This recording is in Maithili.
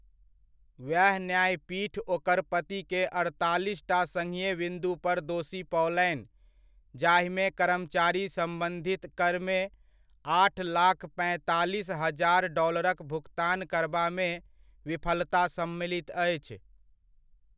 वएह न्यायपीठ ओकर पतिकेँ अड़तालीसटा सङ्घीय विन्दु पर दोषी पओलनि, जाहिमे कर्मचारी सम्बन्धित करमे आठ लाख पैंतालीस हजार डॉलरक भुकतान करबामे विफलता सम्मलित अछि।